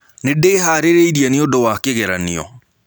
Nĩndĩharĩĩrĩe nĩtondũ wa kĩgeranĩo.